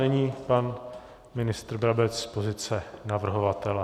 Nyní pan ministr Brabec z pozice navrhovatele.